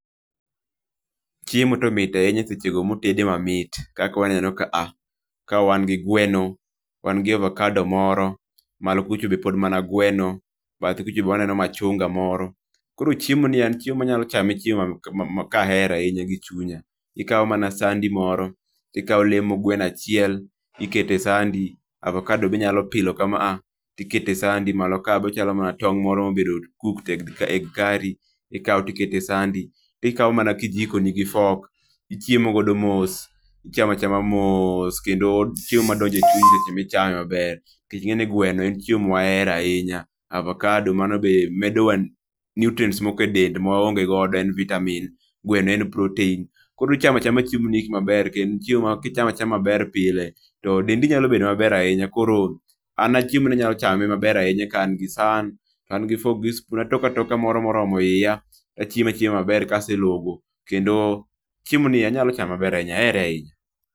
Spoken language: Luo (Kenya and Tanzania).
Chiemo to mit ahinya seche ma otede ma mit kaka waneno kaa ka wan gi gweno wan gi avocado moro ,malo kuchpo be pod ma na gweno bathe kuro be waneno machungwa moro koro chiemo nie n chiemo ma anyalo chame chiemo ka ahero ahinya gi chunya ikawo mana sandi moro ti ikawo lemo gweno achiel ti ikete e sandi, avokado be inyalo pilo ka maa ti ikeyo e sandi, malo ka be ochalo mana tong' moro ma obedo cooked egg curry ti ikawop ti iketo e sandi ti ikawo mana kijiko ni gi fork ti ichiemo godo mos, ichamachama moss kendo chiemo ma donjo e chunyi kendo ichame ma ber nikech ing'eyo ni gweno en chiemo ma wahero ahinya. Avakado mano be medo wa nutrients moko ma waonge go e dendwa en vitamin, gweno en protein. koro uchamo acaham chiemo gi gik ma ber kendo chiemo ma ki ichamo achama ma ber pile to dendi nyalo bedo ma ber ahinya koro an chiemo ni anyalo chame maber ahinya ka an gi san, an gi fork gi spoon, atoke atoka moroma hiya to achiemo ma ber ka aselogo kendo chiemo ni anyalo chame ma ber ahiya, ahere ahinya.